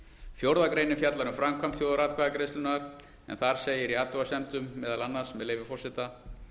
fjórða greinin fjallar um framkvæmd þjóðaratkvæðagreiðslunnar en það segir í athugasemdum meðal annars með leyfi forseta